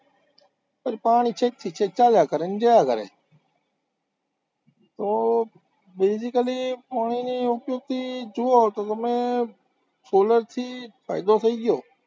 પછી પાણી છેકથી છેક ચાલ્યા કરે ને જયા કરે તો basically પાણીની ઉપયુક્તી જુઓ તો તમે solar થી ફાયદો થઇ ગયો.